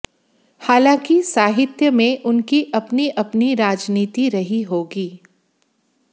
हालांकि साहित्य में उनकी अपनी अपनी राजनीति रही होगी